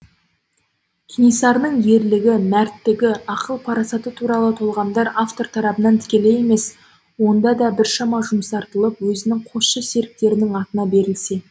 кенесарының ерлігі мәрттігі ақыл парасаты туралы толғамдар автор тарабынан тікелей емес онда да біршама жұмсартылып өзінің қосшы серіктерінің атынан берілсе